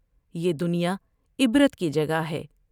یہ دنیا عبرت کی جگہ ہے ۔